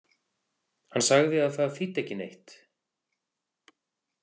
Hann sagði að það þýddi ekki neitt.